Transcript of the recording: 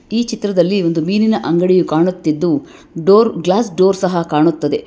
ಈ ಚಿತ್ರದಲ್ಲಿ ಒಂದು ಮೀನಿನ ಅಂಗಡಿಯು ಕಾಣುತ್ತಿದ್ದು ಡೋರ್ ಗ್ಲಾಸ್ ಡೋರ್ ಸಹ ಕಾಣುತ್ತದೆ.